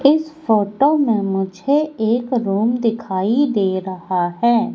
इस फोटो में मुझे एक रूम दिखाई दे रहा है।